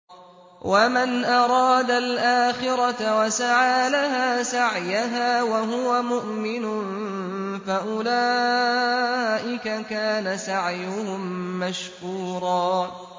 وَمَنْ أَرَادَ الْآخِرَةَ وَسَعَىٰ لَهَا سَعْيَهَا وَهُوَ مُؤْمِنٌ فَأُولَٰئِكَ كَانَ سَعْيُهُم مَّشْكُورًا